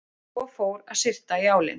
En svo fór að syrta í álinn.